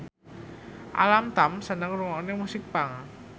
Alam Tam seneng ngrungokne musik punk